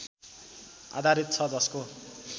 आधारित छ जसको